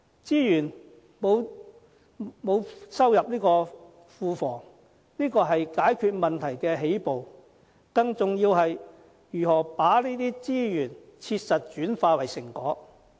資源沒有收歸庫房，這只是解決問題的起步，更重要的是，如何把這些資源切實轉化為成果。